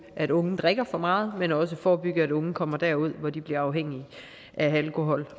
at unge drikker for meget men også forebygge at unge kommer derud hvor de bliver afhængige af alkohol